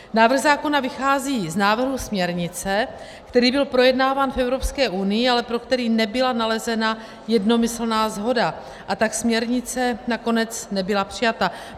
Návrh zákona vychází z návrhu směrnice, který byl projednáván v Evropské unii, ale pro který nebyla nalezena jednomyslná shoda, a tak směrnice nakonec nebyla přijata.